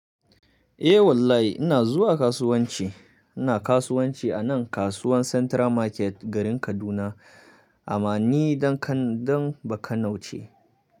Eh wallahi ina zuwa kasuwanci. Ina kasuwanci a nan kasuwan Central Market garin Kaduna. Amma ni ɗan ba kano ce.